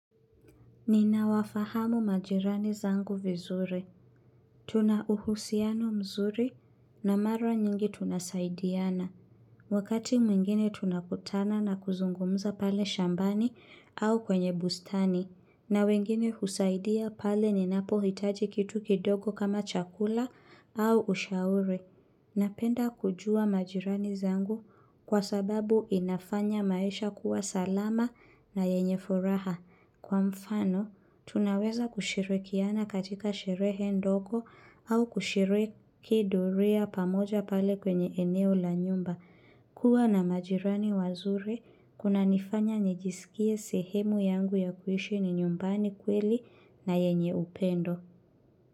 Ninawafahamu majirani zangu vizuri. Tunauhusiano mzuri na mara nyingi tunasaidiana. Wakati mwingine tunakutana na kuzungumza pale shambani au kwenye bustani. Na wengine husaidia pale ninapohitaji kitu kidogo kama chakula au ushauri Napenda kujua majirani zangu kwa sababu inafanya maisha kuwa salama na yenye furaha. Kwa mfano, tunaweza kushirikiana katika sherehe ndogo au kushiriki doria pamoja pale kwenye eneo la nyumba. Kuwa na majirani wazuri, kunanifanya nijisikie sehemu yangu ya kuishi ni nyumbani kweli na yenye upendo.